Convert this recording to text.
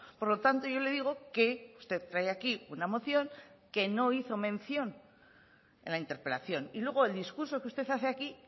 por lo tanto yo le digo que usted trae aquí una moción que no hizo mención en la interpelación y luego el discurso que usted hace aquí